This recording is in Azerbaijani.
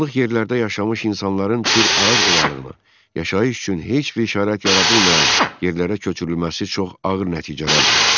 Dağlıq yerlərdə yaşamış insanların Kür Araz ovalığına yaşayış üçün heç bir şərait yaradılmayan yerlərə köçürülməsi çox ağır nəticələr verdi.